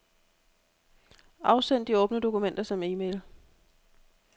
Afsend de åbne dokumenter som e-mail.